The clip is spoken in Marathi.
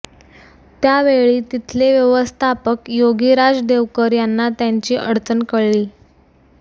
त्या वेळी तिथले व्यवस्थापक योगिराज देवकर यांना त्यांची अडचण कळली